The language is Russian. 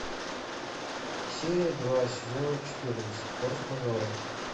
серия два сезона четырнадцать форс мажоры